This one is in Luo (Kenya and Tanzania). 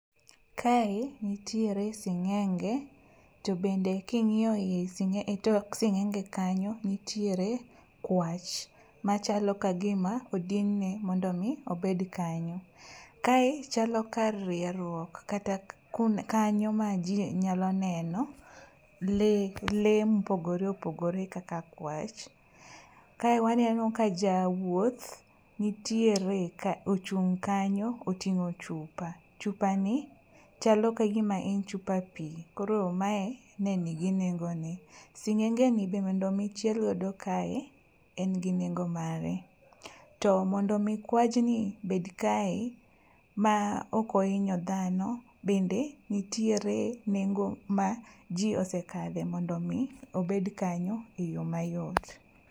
Kae nitiere singénge. To bende kingíyo ie, e tok singénge kanyo nitiere kwach. Machalo ka gima odinne mondo omi obed kanyo. Kae chalo kar rierruok kata kanyo ma ji nyalo neno lee, lee mopogore opogore kaka kwach. Kae waneno ka jawuoth, nitiere ka, ochung' kanyo ka otingó chupa. Chupani, chalo ka gima en chupa pi, koro mae ne nigi nengo ne. Singénge ni bende mondo omi chiel godo kae, en gi nengo mare. To mondo omi kwachni bed kae ma ok ohinyo dhano, bende nitiere nengo ma ji osekadhe, mondo omi obed kanyo e yo mayot.